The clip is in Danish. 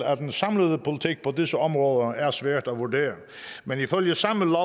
af den samlede politik på disse områder er svært at vurdere men ifølge samme